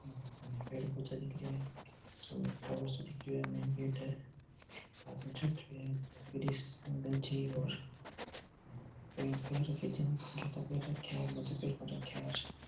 पेड़ पौधा दिख रेहा है सामने एक टावर सो दिख रेहा है मैंन गेट है --